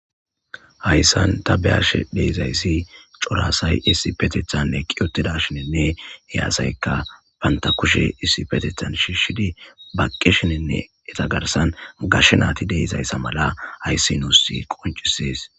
hayssan ta beyashe deizayssi corasay issi petethanne qiyotida shinenne eyaasayka bantakushe issi petethan shiishshidi baqqi shinenne etagarsan gashshe naati deizayssa mala hayssi nuusi qoncisees